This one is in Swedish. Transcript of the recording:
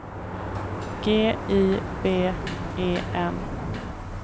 G I V E N